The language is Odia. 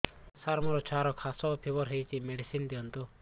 ସାର ମୋର ଛୁଆର ଖାସ ଓ ଫିବର ହଉଚି ମେଡିସିନ ଦିଅନ୍ତୁ